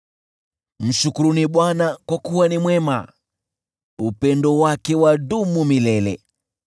Mshukuruni Bwana , kwa kuwa ni mwema; upendo wake wadumu milele.